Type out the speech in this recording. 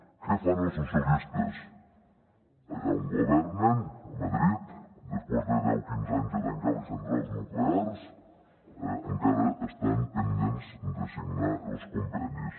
què fan els socialistes allà on governen a madrid després de deu quinze anys de tancar les centrals nuclears encara estan pendents de signar els convenis